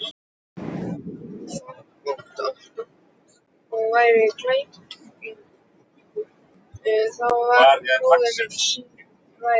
Þótt Ottó væri gallagripur, þá var hinn bróðirinn sýnu verri.